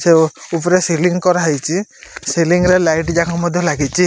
ସେଓ ଉପରେ ସିଙ୍ଗି କରା ହେଇଚି ସିଙ୍ଗି ରେ ଲାଇଟ ଜାଙ୍କ ମଧ୍ୟ୍ୟ ଲାଗିଚି।